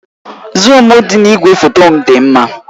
Zuum dị na igwefoto m dị mma